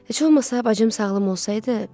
Heç olmasa bacım sağlam olsaydı.